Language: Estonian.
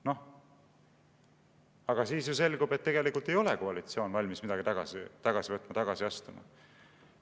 " Noh, aga siis ju selgub, et tegelikult ei ole koalitsioon valmis midagi tagasi võtma, ei ole valmis tagasi astuma.